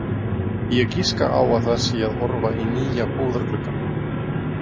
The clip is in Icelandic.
Ég giska á að það sé að horfa í nýja búðargluggann.